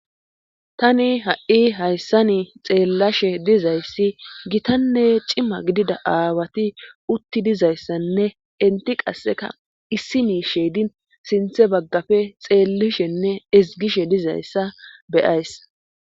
tani ha7i hayssani xeellashe dizayssi gitanne cima gidida aawati utti dizayssanne inti qasseka issini sheedin sinthe baggafe xeellishenne izgishe dizayssa beyays